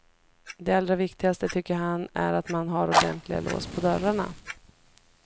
Det allra viktigaste tycker han är att man har ordentliga lås på dörrarna.